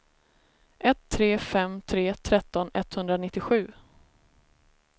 ett tre fem tre tretton etthundranittiosju